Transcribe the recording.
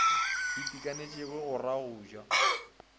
itekanetšego go ra go ja